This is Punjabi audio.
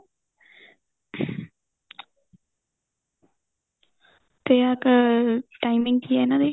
ਤੇ ਅਹ timing ਕੀ ਏ ਇਹਨਾ ਦੀ